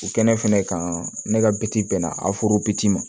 U kɛnɛ fɛnɛ kan ne ka bi bɛnna aforo bi ci ma